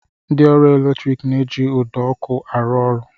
Ndị ọrụ eletrik na-eji ụdọ ọkụ arụ ọrụ